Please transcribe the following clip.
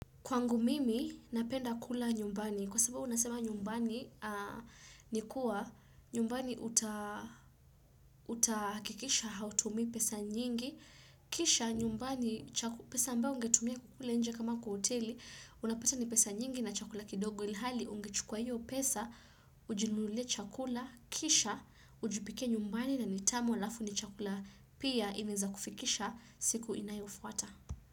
Kwangu mimi, napenda kula nyumbani. Kwa sababu unasema nyumbani ni kuwa nyumbani uta utakikisha hautumii pesa nyingi. Kisha nyumbani cha pesa ambayo ungetumia kukula nje kama kwa hoteli, unapata ni pesa nyingi na chakula kidogo ilhali. Hali ungechukua hiyo pesa, ujinunulie chakula, kisha, ujipikie nyumbani na ni tamu alafu ni chakula pia inaeza kufikisha siku inayofuata.